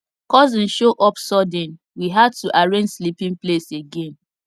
cousin show up sudden we had to arrange sleeping place again